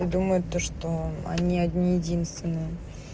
и думает то что они одни единственные